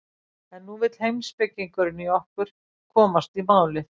En nú vill heimspekingurinn í okkur komast í málið.